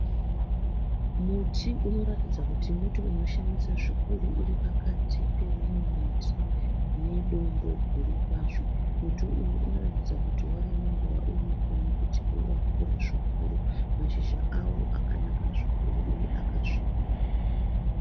Muti unoratidza kuti muti unoshamisa zvikuru uri pakati pomumwe muti nedombo guru kwazvo. Muti uyu unoratidza kuti wava nenguva uripo nokuti wakura zvikuru. Mashizha awo akanaka zvikuru uye akasvibira.